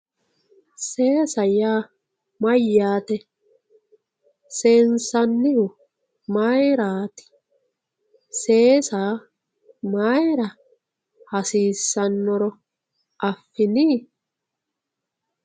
seesa yaa mayyaate seensannihu mayiiraati seesa mayiira hasiissannoro affini.